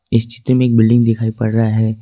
HD में एक building दिखाई पड़ रहा है।